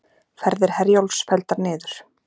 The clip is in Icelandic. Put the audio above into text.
Ferðir Herjólfs felldar niður